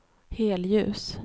helljus